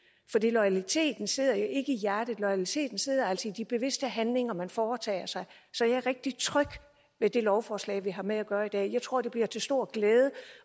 loyaliteten sidder jo ikke i hjertet loyaliteten sidder altså i de bevidste handlinger man foretager sig så jeg er rigtig tryg ved det lovforslag vi har med at gøre i dag jeg tror det bliver til stor glæde